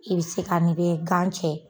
I bɛ se ka n'i bɛ gan cɛ.